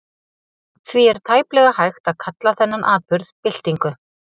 Því er tæplega hægt að kalla þennan atburð byltingu.